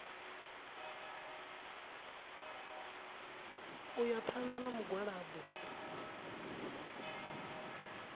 u ya phanḓa na mugwalabo